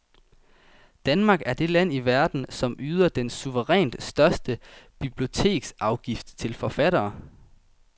Danmark er det land i verden, som yder den suverænt største biblioteksafgift til forfattere.